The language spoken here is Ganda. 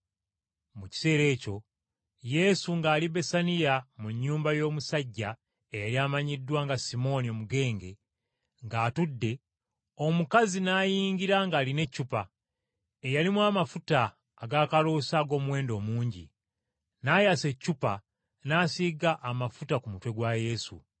Mu kiseera ekyo Yesu ng’ali Besaniya mu nnyumba y’omusajja eyali amanyiddwa nga Simooni Omugenge, ng’atudde, omukazi n’ayingira ng’alina eccupa, eyalimu amafuta ag’akaloosa ag’omuwendo omungi. N’ayasa eccupa n’asiiga amafuta ku mutwe gwa Yesu.